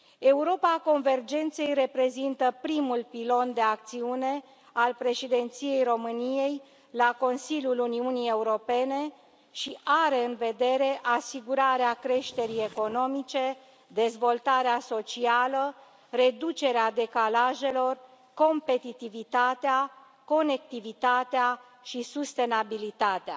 Europa convergenței reprezintă primul pilon de acțiune al Președinției României la Consiliul Uniunii Europene și are în vedere asigurarea creșterii economice, dezvoltarea socială, reducerea decalajelor, competitivitatea, conectivitatea și sustenabilitatea.